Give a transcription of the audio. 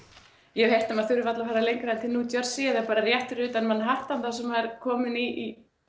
ég hef heyrt að maður þurfi varla að fara lengra en til New Jersey eða bara rétt fyrir utan Manhattan þar sem maður er kominn í